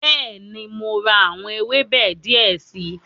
Bẹ́ẹ̀ni, mo ra àwọn ewébẹ̀ die si